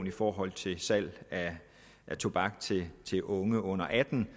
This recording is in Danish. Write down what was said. i forhold til salg af tobak til unge under atten